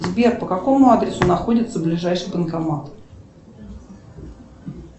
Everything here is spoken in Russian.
сбер по какому адресу находится ближайший банкомат